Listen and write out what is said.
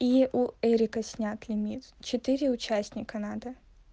и у эрика снят лимит четыре участника надо